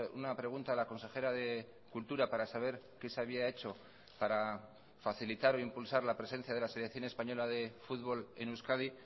una pregunta a la consejera de cultura para saber qué se había hecho para facilitar o impulsar la presencia de la selección española de fútbol en euskadi